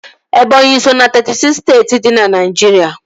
Ebọnyi so ná teetị siks steeti dị na Naijiria